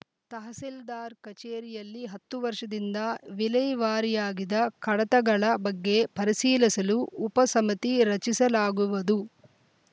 ತಹಸೀಲ್ದಾರ್‌ ಕಚೇರಿಯಲ್ಲಿ ಹತ್ತು ವರ್ಷದಿಂದ ವಿಲೇವಾರಿಯಾಗಿದ ಕಡತಗಳ ಬಗ್ಗೆ ಪರಿಶೀಲಿಸಲು ಉಪ ಸಮಿತಿ ರಚಿಸಲಾಗುವುದು